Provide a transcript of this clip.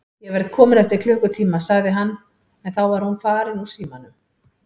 Ég verð kominn eftir klukkutíma, sagði hann en þá var hún farin úr símanum.